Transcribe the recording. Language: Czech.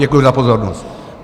Děkuji za pozornost.